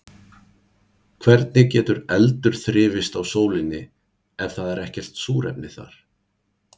Hvernig getur eldur þrifist á sólinni ef það er ekkert súrefni þar?